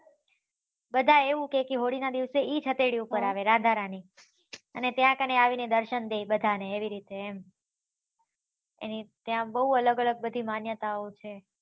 બધા એવું કેહ્કે હોળી ના દીવસે ઈ હથેળી ઉપર આવે રાધા રાની અને ત્યાં કને આવી ને દર્શન દે બધા ને એવી રીત્તે એમ એની ત્યાં બહુ અલગ અલગ માન્યતા છે